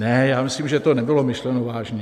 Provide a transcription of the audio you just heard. Ne, já myslím, že to nebylo myšleno vážně.